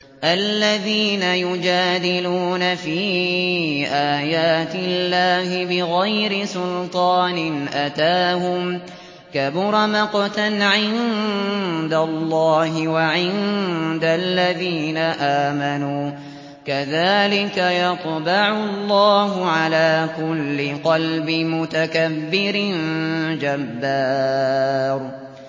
الَّذِينَ يُجَادِلُونَ فِي آيَاتِ اللَّهِ بِغَيْرِ سُلْطَانٍ أَتَاهُمْ ۖ كَبُرَ مَقْتًا عِندَ اللَّهِ وَعِندَ الَّذِينَ آمَنُوا ۚ كَذَٰلِكَ يَطْبَعُ اللَّهُ عَلَىٰ كُلِّ قَلْبِ مُتَكَبِّرٍ جَبَّارٍ